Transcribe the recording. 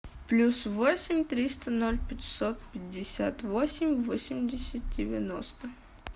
плюс восемь триста ноль пятьсот пятьдесят восемь восемьдесят девяносто